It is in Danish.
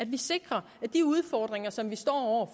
vi sikrer de udfordringer som vi står